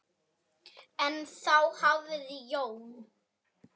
Nei, þá hafði Jón